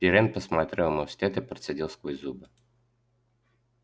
пиренн посмотрел ему вслед и процедил сквозь зубы